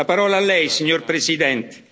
fa. La parola a Lei, signor Presidente.